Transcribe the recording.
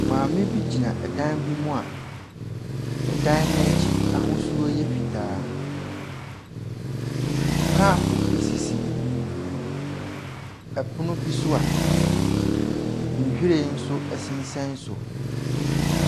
Maame bi gyina ɛdan bi mua ɛdan n'akyi ahosuo ɛyɛ fitaa. Kapo esisi ɛpono bi so a nwhiren nso ɛsensɛn so.